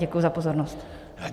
Děkuji za pozornost.